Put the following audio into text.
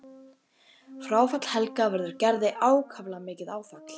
Fráfall Helga verður Gerði ákaflega mikið áfall.